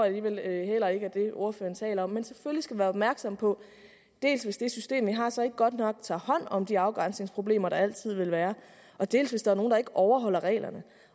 alligevel heller ikke er det ordføreren taler om men selvfølgelig skal man være opmærksom på dels hvis det system vi har så ikke godt nok tager hånd om de afgrænsningsproblemer der altid vil være dels hvis der er nogle der ikke overholder reglerne